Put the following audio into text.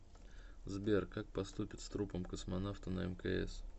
сбер как поступят с трупом космонавта на мкс